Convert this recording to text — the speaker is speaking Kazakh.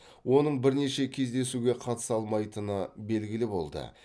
оның бірнеше кездесуге қатыса алмайтыны белгілі болды